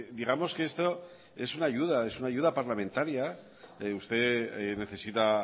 digamos que esto es una ayuda es una ayuda parlamentaria usted necesita